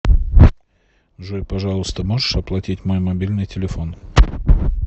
джой пожалуйста можешь оплатить мой мобильный телефон